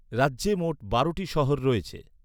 রাজ্যে মোট বারোটি শহর রয়েছে।